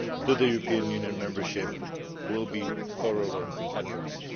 to European Union membership will be thoroughly addressed.